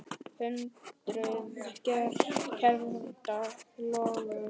Hundruð kerta loguðu.